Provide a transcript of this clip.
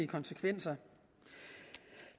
konsekvenser